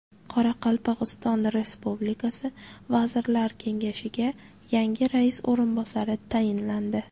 Qoraqalpog‘iston Respublikasi Vazirlar Kengashiga yangi rais o‘rinbosari tayinlandi.